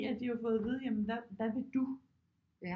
At de har jo fået at vide at hvad vil du